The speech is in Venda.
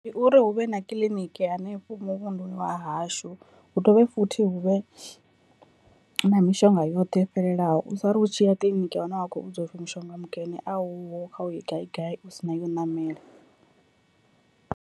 Ndi uri hu vhe na kiḽiniki hanefho muvhunduni wa hashu, hu dovhe futhi hu vhe na mishonga yoṱhe yo fhelelaho u sari u tshiya kiḽiniki ya hone wa kho vhudzwa upfhi mushonga mukene a uho kha u ye gai gai u sina ya u ṋamela.